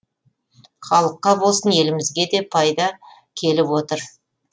халыққа болсын елімізге де пайда келіп отыр